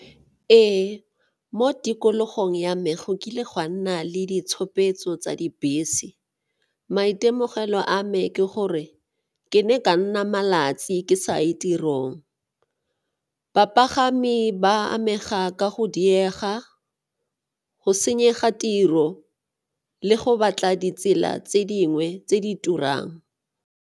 Ee, mo tikologong ya me go kile gwa nna le ditshupetso tsa dibese. Maitemogelo a me ke gore ke ne ka nna malatsi ke sa ye ko tirong. Bapagami ba amega ka go diega, go senyega tiro le go batla ditsela tse dingwe tse di turang.